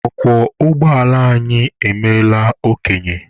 Ọkwọ ụgbọala anyị emeela okenye